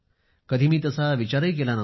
कधी मी तसा विचारही केला नव्हता